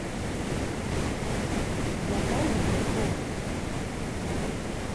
натальей петровой